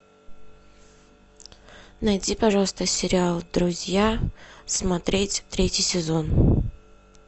найди пожалуйста сериал друзья смотреть третий сезон